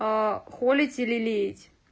холить и лелеять